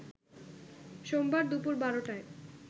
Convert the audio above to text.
সোমবার দুপুর ১২টায়